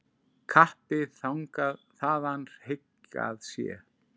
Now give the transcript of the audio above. Kappi þaðan hygg að sé.